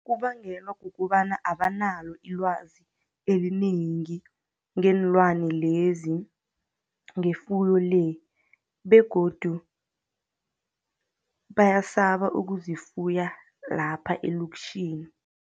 Kubangelwa kukobana abanalo ilwazi elinengi, ngeenlwana lezi, ngefuyo le, begodu bayasaba ukuzifuya lapha elokitjhini.